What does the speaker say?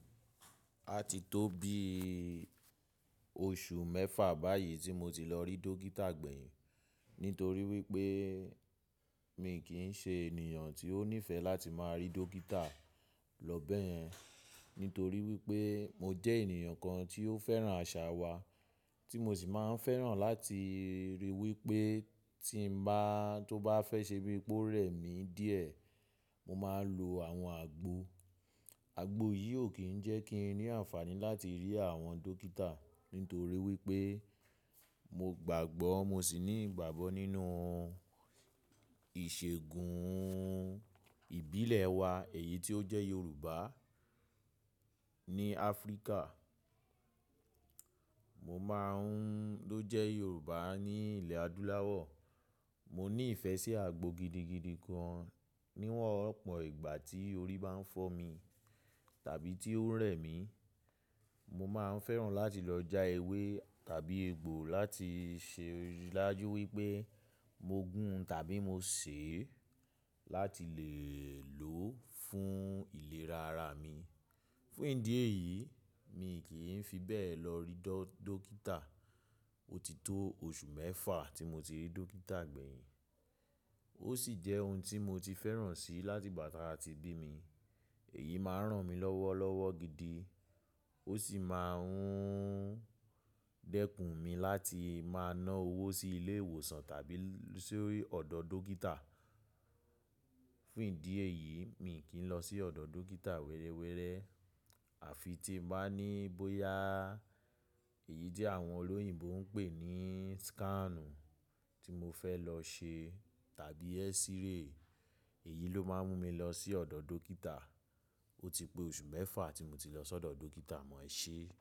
A ti tó bí oṣù mẹ́fà báyìí tí mo ti lọ rí dókítà gbẹ̀yìn nítorí wípé mi kì ń ṣe ènìyàn tí ó nífẹ̀ẹ́ láti máa rí dókítà lọ báyẹn. Nítorí wípé mo jẹ́ ènìyàn kan tí ó fẹ́ràn àṣà wa tí mo sì máa ń fẹ́ràn láti ríi wípé tí ń bá, tó bá fẹ́ ṣe bíi pé ó rẹ̀ mí díẹ̀, mo máa ń lo àwọn àgbo. Àgbo yìí ò kí ń jẹ́ kí n ní àǹfààní láti rí àwọn dókítà nítorí wípé mo gbàgbọ́, mo sì ní ìgbàgbọ́ nínú ìṣègùn ìbílẹ̀ wa èyí tí ó jẹ́ Yorùbá ní Áfríkà. Mo máa ń ló jẹ́ Yorùbá ní ilẹ̀ adúláwọ̀. Mo ní ìfẹ́ sí àgbo gidigidi gan níwà ọ̀pọ̀ ìgbà tí orí bá ń fọ́ mi tàbí tí ó ń rẹ̀ mí. Mo máa ń fẹ́ràn láti lọ já ewé tàbí egbò láti ṣe láti ridájú wípé mo gún tàbí mo sè é láti lè lò ó fún ìlera ara mi. Fún ìdí èyí mi kì í fi bẹ́ẹ̀ lọ rí dókítà. Ó ti tó oṣù mẹ́fà tí mo ti rí dókítà gbẹ̀yìn. Ó sì jẹ́ ohun tí mo ti fẹ́ràn sí láti ìgbà tí a ti bí mi. Èyí máa ń ràn mí lọ́wọ́lọ́wọ́ gidi. Ó sì máa ń dẹkùn mi láti máa ná owó sí ilé ìwòsàn tàbí sí ọ̀dọ̀ dókítà. Fún ìdí èyí mi kì í lọ sí ọ̀dọ̀ dókítà wẹrẹwẹrẹ. Àfi tí mo bá ní bóyá èyí jẹ́ àwọn olóyìnbo ń pè ní scan tí mo fẹ́ lọ ṣe tàbí x-ray. Èyí ló máa ń mú mi lọ sí ọ̀dọ̀ dókítà. Ó ti pé oṣù mẹ́fà tí mo ti lọ sọ́dọ̀ dókítà mọ́ ẹ ṣe.